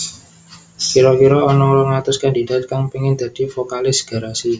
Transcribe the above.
Kira kira ana rong atus kandidat kang pengin dadi vokalis Garasi